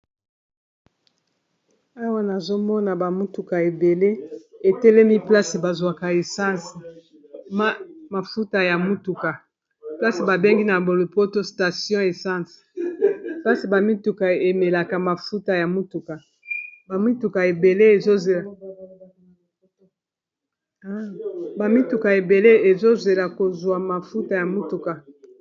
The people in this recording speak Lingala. Awa nazomona bamutuka ebele etelemi placi bazwaka escmafuta ya mutuka, place babengi na bolopoto station essence pasi bamituka emelaabamituka ebele ezozela kozwa mafuta ya mutuka.